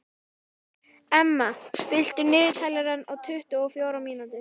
Emma, stilltu niðurteljara á tuttugu og fjórar mínútur.